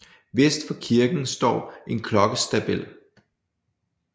Vest for kirken står en klokkestabel